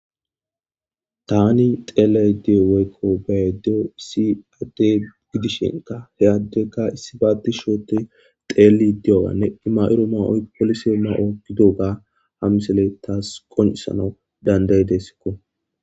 Tani xeela diyo woyko be'a diyoy issi ade gidishinka he adeyka issiba tishshi oothi xeeli diyobane i ma'ido ma'oyka poolise ma'o gididoga ha misiley tas qoncissanaw dandaidesko.